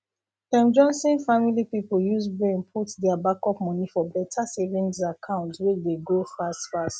dem johnson family people use brain put their backup money for better savings account wey dey grow fast fast